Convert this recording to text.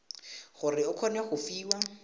gore o kgone go fiwa